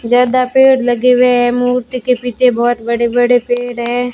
ज्यादा पेड़ लगे हुए हैं मूर्ति के पीछे बहोत बड़े बड़े पेड़ है।